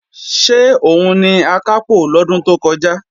Ṣé òun ni Akápò lọ́dún tó kọjá?